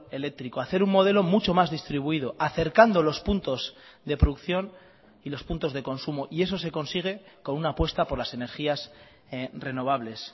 eléctrico hacer un modelo mucho más distribuido acercando los puntos de producción y los puntos de consumo y eso se consigue con una apuesta por las energías renovables